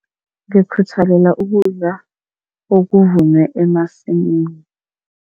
Ngikukhuthalela ukudla okuvunwe emasimini.